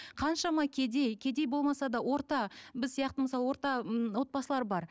қаншама кедей кедей болмаса да орта біз сияқты мысалы орта м отбасылар бар